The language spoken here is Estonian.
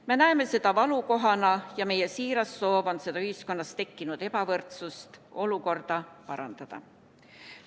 Me näeme seda valukohana ja meie siiras soov on ühiskonnas tekkinud ebavõrdset olukorda parandada.